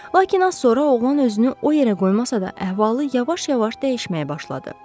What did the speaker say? Lakin az sonra oğlan özünü o yerə qoymasa da, əhvalı yavaş-yavaş dəyişməyə başladı.